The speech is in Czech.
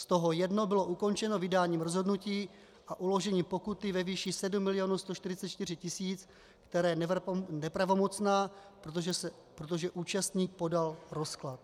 Z toho jedno bylo ukončeno vydáním rozhodnutí a uložením pokuty ve výši 7 144 000, které je nepravomocné, protože účastník podal rozklad.